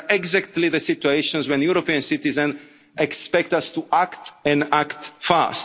These are exactly the situations where European citizens expect us to act and act fast.